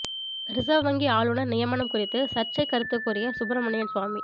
reserve வங்கி ஆளுநர் நியமனம் குறித்து சர்ச்சை கருத்து கூறிய சுப்பிரமணியன் சுவாமி